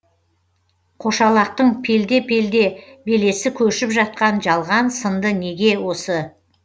қошалақтың пелде пелде белесі көшіп жатқан жалған сынды неге осы